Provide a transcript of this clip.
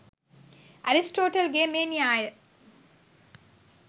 Aristotle ගේ මේ න්‍යාය